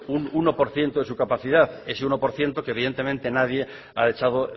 un uno por ciento de su capacidad ese uno por ciento que evidentemente nadie ha echado